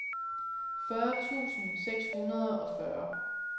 fyrre tusind seks hundrede og fyrre